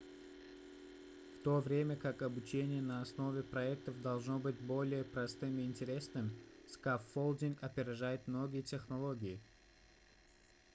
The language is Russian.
в то время как обучение на основе проектов должно быть более простым и интересным скаффолдинг опережает многие технологии